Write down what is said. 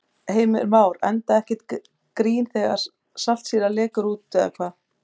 Heimir Már: Enda ekkert grín þegar saltsýra lekur út eða hvað?